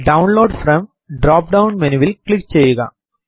download from drop down menu will click ചെയ്യുക